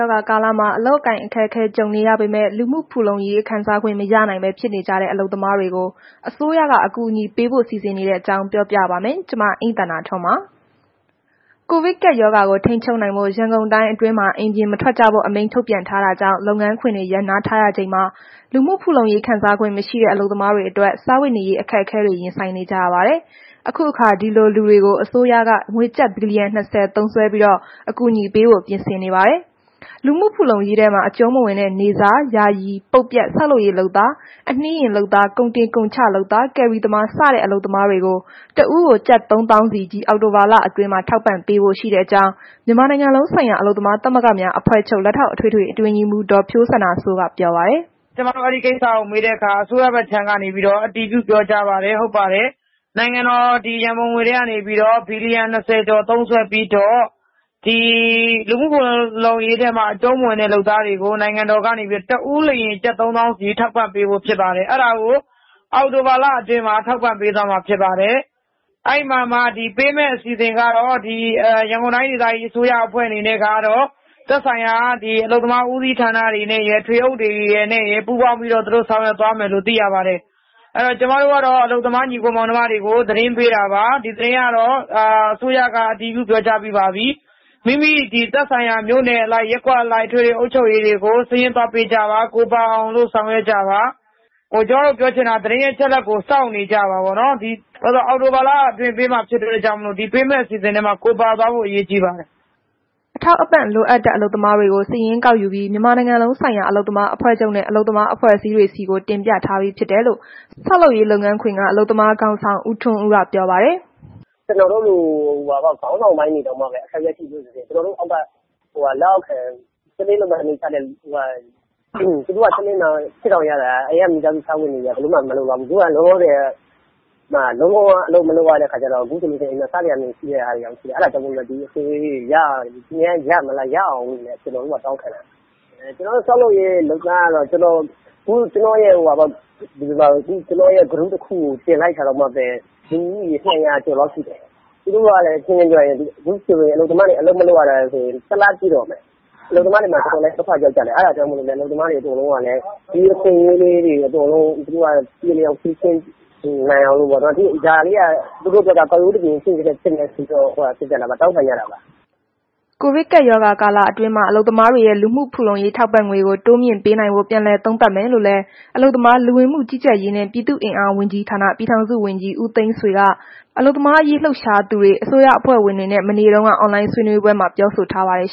ောဂါကာလမှာ အလုပ်အကိုင်အခက်အခဲ ကြုံနေရပေမဲ့ လူမှုဖူလုံရေး ခံစားခွင့်မရနိုင်ပဲ ဖြစ်နေကြတဲ့ အလုပ်သမားတွေကို အစိုးရက အကူအညီပေးဖို့ စီစဉ်နေတဲ့အကြောင်း ပြောပြပါမယ်။ ဗွီအိုအေမြန်မာပိုင်းသတင်းထောက် မအိမ့်သန္တာထွန်းက သတင်းပေးပို့ထားပါတယ်။ ကိုဗစ်ကပ်ရောဂါကို ထိန်းချုပ်နိုင်ဖို့ ရန်ကုန်တိုင်းအတွင်းမှာ အိမ်ပြင်မထွက်ကြဖို့အမိန့် ထုတ်ပြန်ထားတာကြောင့် လုပ်ငန်းခွင်တွေ ရပ်နားထားရချိန်မှာ လူမှုဖူလုံရေးခံစားခွင့် မရှိတဲ့ အလုပ်သမားတွေအတွက် စားဝတ်နေရေး အခက်အခဲတွေ ရင်ဆိုင်နေကြရပါတယ်။ အခုအခါ ဒီလိုလူတွေကို အစိုးရက ကျပ်ငွေဘီလီယံ ၂၀ သုံးစွဲပြီး အကူအညီပေးဖို့ ပြင်ဆင်နေပါတယ်။ လူမှုဖူလုံရေးထဲမှာ အကျုံးမဝင်တဲ့ နေ့စား၊ ယာယီ၊ ပုတ်ပြတ်၊ ဆောက်လုပ်ရေးလုပ်သား၊ အနှေးယာဉ်လုပ်သား၊ ကုန်တင်ကုန်ချလုပ်သာ၊ ကယ်ရီသမားစတဲ့ အလုပ်သမားတွေကို တစ်ဦးကို ကျပ် ၃၀,၀၀၀ စီ ဒီအောက်တိုဘာလအတွင်းမှာ ထောက်ပံ့ပေးဖို့ ရှိတဲ့အကြောင်း မြန်မာနိုင်ငံလုံးဆိုင်ရာ အလုပ်သမားသမဂ္ဂများ အဖွဲ့ချုပ် လက်ထောက် အထွေထွေအတွင်းရေးမှုး ဒေါ်ဖြိုးစန္ဒာစိုးက ပြောပါတယ်။ “ကျမတို့ အဲ့ဒီကိစ္စကို မေးတဲ့အခါ အစိုးရဘက်က အတည်ပြုပြောပါတယ်။ ဟုတ်ပါတယ်။ နိုင်ငံတော်ရန်ပုံငွေထဲက နေပြီးတော့ ဘီလီယံ ၂၀ ကျော် သုံးစွဲပြီးတော့ ဒီလူမှုဖူလုံရေးထဲမှာ အကျုံးမဝင်တဲ့ လုပ်သားတွေကို တစ်ဦးလျှင် ကျပ် ၃၀,၀၀၀ စီ ထောက်ပံ့ပေးဖို့ဖြစ်ပါတယ်။ အဲ့ဒါကို အောက်တိုဘာလအတွင်းမှာ ထောက်ပံ့ပေးသွားမှာ ဖြစ်ပါတယ်။ အဲ့ဒီမှာမှ ပေးမယ့် အစီအစဉ်ကတော့ ရန်ကုန်တိုင်းဒေသကြီး အစိုးရအဖွဲ့အနေနဲ့ကတော့ သက်ဆိုင်ရာ အလုပ်သမားဦးစီးဌာနတွေနဲ့ ရယ်၊ ထွေအုပ်တွေနဲ့ရယ် ပူးပေါင်းဆောင်ရွက်သွားမယ်လို့ သိရပါတယ်။ အဲ့ဒီတော့ အလုပ်သမား၊ ညီအကို၊ မောင်နှမတွေကို သတင်းပေးတာပါ၊ အစိုးရက အတည်ပြုပြောကြားပြီးပါပြီ။ မိမိသက်ဆိုင်ရာ မြို့နယ်အလိုက် ရပ်ကွက်အလိုက် အထွေထွေအုပ်ချုပ်ရေးတွေကို စာရင်းသွားပေးကြပါ။ ကိုယ်ပါအောင် ဆောင်ရွက်ကြပါ။ ကျမ ပြောချင်တာက သတင်းအချက်အလက်ကို စောင့်နေကြပါပေါ့နော်။ ဒီအောက်တိုဘာလအတွင်းပေးမှာဖြစ်တဲ့အတွက်ကြောင့် ဒီပေးမယ့် အစီအစဉ်ထဲမှာ ကိုယ်ပါသွားဖို့ အရေးကြီးပါတယ်။” အထောက်အပံ့လိုအပ်တဲ့ အလုပ်သမားတွေကို စာရင်းကောက်ပြီး မြန်မာနိုင်ငံလုံးဆိုင်ရာ အလုပ်သမားအဖွဲ့ချုပ်နဲ့ အလုပ်သမားအဖွဲ့အစည်းတွေဆီကို တင်ပြထားပြီးဖြစ်တယ်လို့ ဆောက်လုပ်ရေးလုပ်ငန်းခွင်က အလုပ်သမားခေါင်းဆောင် ဦးထွန်းဦးက ပြောပါတယ်။ “ကျနော်တို့လို ခေါင်းဆောင်ပိုင်းတွေတောင်မှ အခက်အခဲရှိနေကြတာ၊ ကျနော်တို့ အောက်က တစ်နေ့လုပ်မှ တစ်နေ့စားရတဲ့သူတွေက သူတို့က တစ်နေ့မှ ၈,၀၀၀ ရတာ သူတို့ အိမ်က မိသားစုစား ဝတ်နေရေးက လုံးဝမလုံလောက်ဘူး။ လုံးဝအလုပ်မလုပ်ရတဲ့ခါကျတော့ နေ့စဉ်နေ့တိုင်း စားစရာ မရှိတဲ့ဟာတွေက အများကြီးရှိတယ်။ အဲ့ဒါကြောင့်မို့လို့လည်း ဒီလိုဟာလေးတွေကို ရများရမလား၊ ရအောင်လို့ပေါ့နှော် တောင်းခံတာ။ ဆောက်လုပ်ရေးလုပ်သားက ကျနော် Group တစ်ခုတည်းမှာ တင်လိုက်တာတောင်မှပဲ လူဦးရေ ၂၀၀ ကျော်လောက်ရှိတယ်။ သူတို့က အခက်အခဲရှိတယ်၊ ခုဆိုရင် သူတို့တွေ အလုပ်မလုပ်ရတာ တစ်လလောက်ရှိတော့မယ်။ အလုပ်သမားတွေမှာ တော်တော်လေး ဒုက္ခရောက်ပါတယ်။ အဲ့ဒါကြောင့် အလုပ်သမားတွေကလည်း ဒီအခွင့်အရေးလေးတွေကို ပြေလည်အောင်ဖြေရှင်းပေးနိုင်အောင်ပေ့ါနော်၊ ဒါလေးက သူတို့အတွက်က ကောက်ရိုးတစ်မျှင်လည်းဖြစ်ရင် ဖြစ်မယ်ဆိုပြီးတော့ တောင်းခံကြတာပါ။” ကိုဗစ်ကပ်ရောဂါကာလအတွင်းမှာ အလုပ်သမားတွေရဲ့ လူမှုဖူလုံရေး ထောက်ပံ့ငွေကို တိုးမြင့်ပေးနိုင်ဖို့ ပြန်လည်သုံးသပ်မယ်လို့လည်း အလုပ်သမား၊ လူဝင်မှု ကြီးကြပ်ရေးနှင့် ပြည်သူ့အင်အား ဝန်ကြီးဌာန ပြည်ထောင်စုဝန်ကြီး ဦးသိန်းဆွေက အလုပ်သမားရေး လှုပ်ရှားသူတွေ အစိုးရအဖွဲ့ဝင်တွေနဲ့ မနေ့တုန်းက အွန်လိုင်းဆွေးနွေးပွဲမှာ ပြောဆိုထားပါတယ်